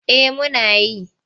Eh muna yi.